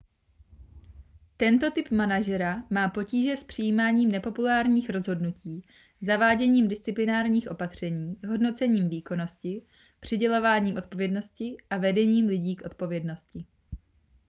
tento typ manažera má potíže s přijímáním nepopulárních rozhodnutí zaváděním disciplinárních opatření hodnocením výkonnosti přidělováním odpovědnosti a vedením lidí k odpovědnosti